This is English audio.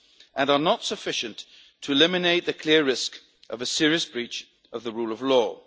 concerns and are not sufficient to eliminate the clear risk of a serious breach of the rule